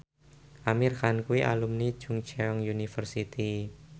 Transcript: Amir Khan kuwi alumni Chungceong University